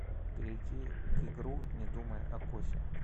перейти к игру не думай о кофе